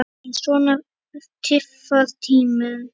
En svona tifar tíminn.